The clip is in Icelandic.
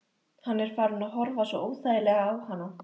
Hann er farinn að horfa svo óþægilega á hana.